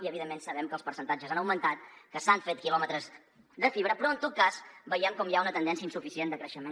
i evidentment sabem que els percentatges han augmentat que s’han fet quilòmetres de fibra però en tot cas veiem com hi ha una tendència insuficient de creixement